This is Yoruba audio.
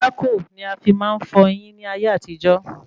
Pákò ni a fi máa ń fọyín ní ayé àtijó